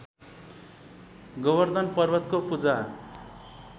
गोबर्धन पर्वतको पूजा